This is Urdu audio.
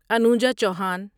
انوجا چوہان